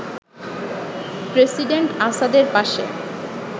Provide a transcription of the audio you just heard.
president আসাদের পাশে